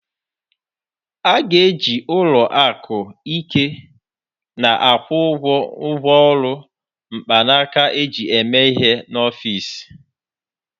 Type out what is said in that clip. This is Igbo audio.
A ga-eji ụlọ akụ ike na-akwụ ụgwọ ngwaọrụ mkpanaka eji eme ihe n'ọfịs